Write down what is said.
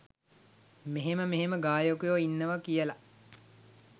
මෙහෙම මෙහෙම ගායකයො ඉන්නවා කියල.